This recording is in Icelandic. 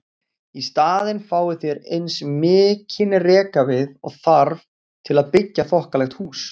Í staðinn fáið þér eins mikinn rekavið og þarf til að byggja þokkalegt hús.